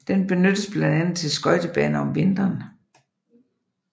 Den benyttes blandt andet til skøjtebane om vinteren